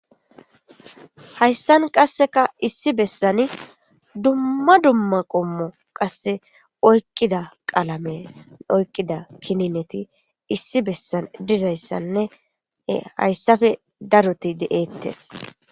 Hayssan qassekka issi bessani dumma qommo qasse oyqqida qalame oyqqida kinineti issi bessan dizayssanne hayssappe darotti de7eetees.